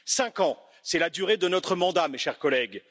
Cinq ans, c'est la durée de notre mandat, mes chers collègues.